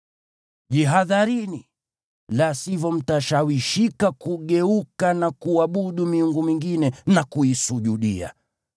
Jihadharini, la sivyo mtashawishika kugeuka na kuabudu miungu mingine na kuisujudia.